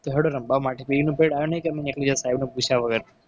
તો હેડો રમવા માટે free નું period આવ્યો નહીં. કે અમે નીકળી જતા પૂછ્યા વગર.